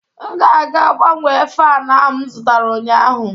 M ga-aga gbanwee fan ahụ m zụtara ụnyaahụ